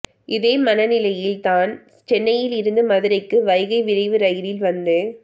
இதே மனநிலையில் தான் சென்னையிலிருந்து மதுரைக்கு வைகை விரைவு ரயிலில் வந்து